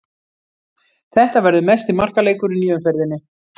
Þetta verður mesti markaleikurinn í umferðinni.